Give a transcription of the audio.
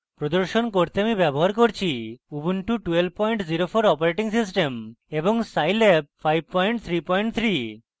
প্রদর্শন করতে আমি ব্যবহার করছি ubuntu 1204 operating system এবং scilab 533